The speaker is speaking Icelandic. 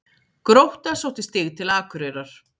Grótta sótti stig til Akureyrar